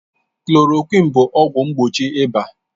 Klòròkwịn bụ ọgwụ mgbochi ịba